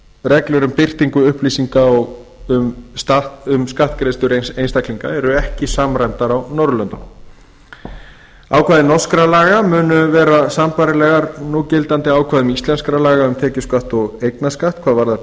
reglur um birtingu upplýsinga um skattgreiðslur einstaklinga eru ekki samræmdar á norðurlöndum ákvæði norskra laga munu vera sambærileg núgildandi ákvæðum íslenskra laga um tekjuskatt og eignarskatt hvað varðar